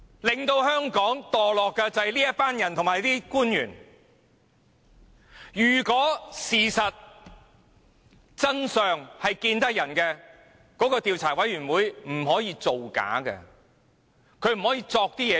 令香港墮落的正是這些人及官員，如果真相可以讓人知道，專責委員會絕不會造假，捏造事實。